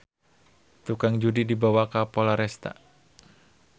Tukang judi dibawa ka Polresta